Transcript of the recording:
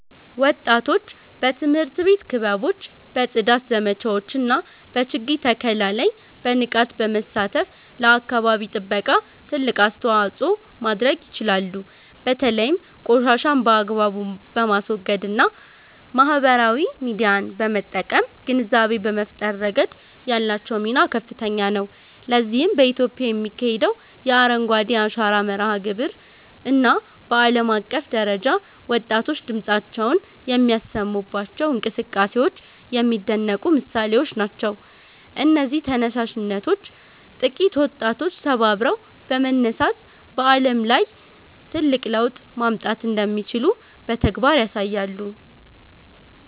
ወጣቶች በትምህርት ቤት ክበቦች፣ በጽዳት ዘመቻዎች እና በችግኝ ተከላ ላይ በንቃት በመሳተፍ ለአካባቢ ጥበቃ ትልቅ አስተዋጽኦ ማድረግ ይችላሉ። በተለይም ቆሻሻን በአግባቡ በማስወገድ እና ማህበራዊ ሚዲያን በመጠቀም ግንዛቤ በመፍጠር ረገድ ያላቸው ሚና ከፍተኛ ነው። ለዚህም በኢትዮጵያ የሚካሄደው የ"አረንጓዴ አሻራ" መርሃ ግብር እና በዓለም አቀፍ ደረጃ ወጣቶች ድምፃቸውን የሚያሰሙባቸው እንቅስቃሴዎች የሚደነቁ ምሳሌዎች ናቸው። እነዚህ ተነሳሽነቶች ጥቂት ወጣቶች ተባብረው በመነሳት በዓለም ላይ ትልቅ ለውጥ ማምጣት እንደሚችሉ በተግባር ያሳያሉ